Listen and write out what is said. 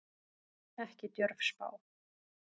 Ekki djörf spá.